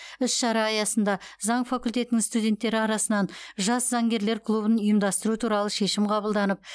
іс шара аясында заң факультетінің студенттері арасынан жас заңгерлер клубын ұйымдастыру туралы шешім қабылданып